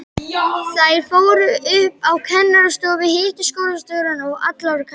Þær fóru upp á kennarastofu, hittu skólastjórann og alla kennarana.